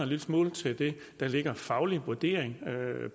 lille smule til det der er en faglig vurdering af